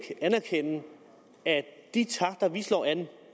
anerkende at de takter vi slår an